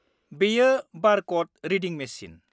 -बेयो बार कड रिडिं-मेचिन।